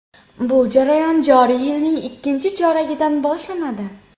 Bu jarayon joriy yilning ikkinchi choragidan boshlanadi.